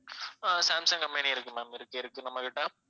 அஹ் Samsung company இருக்கு ma'am இருக்கு இருக்கு நம்மகிட்ட